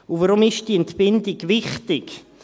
Warum ist diese Entbindung wichtig?